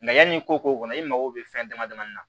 yanni i ko k'o kɔnɔ i mago bɛ fɛn dama damanin na